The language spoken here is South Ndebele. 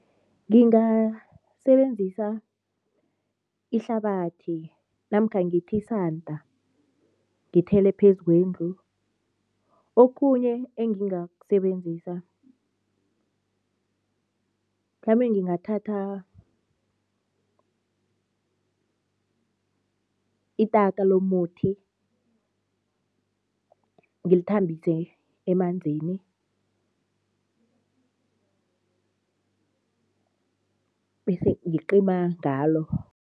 Ngingasebenzisa ihlabathi namkha ngithi isanda, ngithele phezu kwendlu. Okhunye engingakusebenzisa, mhlambe ngingathatha itaka lomuthi, ngilithambise emanzini bese ngicima ngalo.